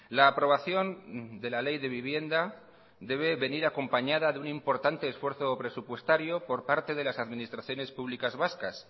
la aprobación de la ley de vivienda debe venir acompañada de un importante esfuerzo presupuestario por parte de las administraciones públicas vascas